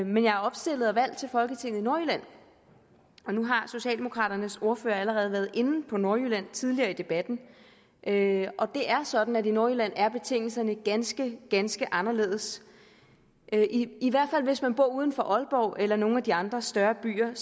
men jeg er opstillet og valgt til folketinget i nordjylland nu har socialdemokraternes ordfører allerede været inde på nordjylland tidligere i debatten det er sådan at i nordjylland er betingelserne ganske ganske anderledes i hvert fald hvis man bor uden for aalborg eller nogle af de andre større byer